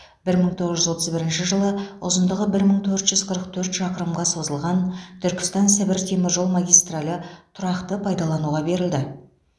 бір мың тоғыз жүз отыз бірінші жылы ұзындығы бір мың төрт жүз қырық төрт шақырымға созылған түркістан сібір темір жол магистралі тұрақты пайдалануға берілді